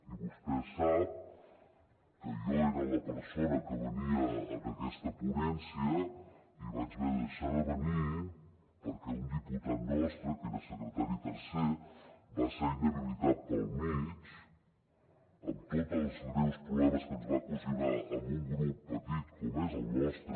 i vostè sap que jo era la persona que venia en aquesta ponència i vaig haver de deixar de venir perquè un diputat nostre que era secretari tercer va ser inhabilitat pel mig amb tots els greus problemes que ens va ocasionar a un grup petit com és el nostre